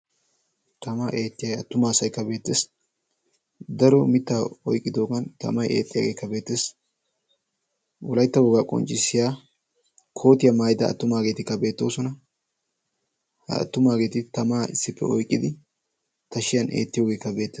tamaa eettiyaa attumaa asaikka beettessi daro mitta oiqqidoogan tamay eexxiyaageekka beettees. wolaytta wogaa qonccissiya kootiyaa maaida attumaageeti ka beettoosona. ha attumaageeti tamaa issippe oiqqidi tashiyan eettiyoogeekka beettees.